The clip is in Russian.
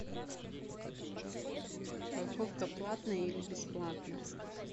парковка платная или бесплатная